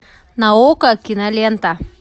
на окко кинолента